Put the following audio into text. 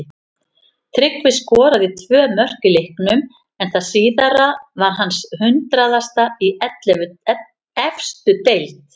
Tryggvi skoraði tvö mörk í leiknum en það síðara var hans hundraðasta í efstu deild.